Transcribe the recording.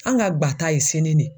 An ka ŋa ta ye sini de ye.